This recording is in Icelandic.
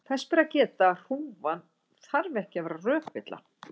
þess ber að geta að hrúgan þarf ekki að vera rökvilla